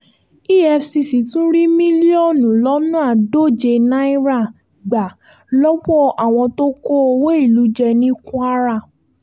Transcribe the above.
efcc tún rí mílíọ̀nù lọ́nà àádóje náírà gbà lọ́wọ́ àwọn tó kó owó ìlú jẹ ní kwara